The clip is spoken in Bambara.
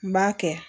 N b'a kɛ